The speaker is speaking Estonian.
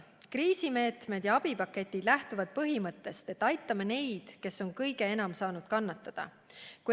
Kriisimeetmed ja abipaketid lähtuvad põhimõttest, et aitame neid, kes on kõige enam saanud kannatada.